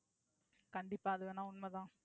கண்டிப்பா அது வேணா உண்மை தான்.